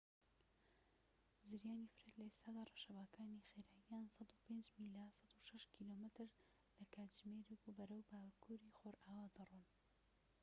زریانی فرێد لە ئێستادا ڕەشەباکانی خێراییان ١٠٥ میلە ١٦٥ کیلۆمەتر/کاتژمێر و بەرەو باکوری ڕۆژئاوا دەڕۆن